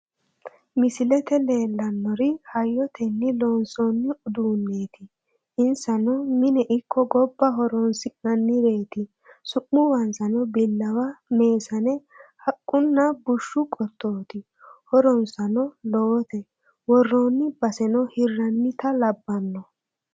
Misilette leellannori hayotenni loonsoonni uduuneetti inssano mine ikko gobba horoonsi'nannireetti su'mubanssano bilawa, meesane, haqunna bushshu qotootti horonssano lowote woroonni basenno hirannita labanno